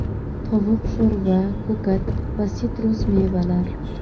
Tovuq sho‘rva, ko‘kat va sitrus mevalar.